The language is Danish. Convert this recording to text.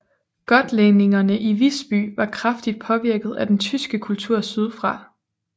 Gotlændingerne i Visby var kraftigt påvirket af den tyske kultur sydfra